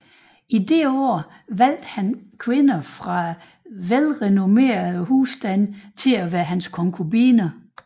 Dette år valgte han kvinder fra velrenommerede husstande til at være hans konkubiner